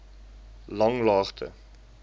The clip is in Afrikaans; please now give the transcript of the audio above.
langlaagte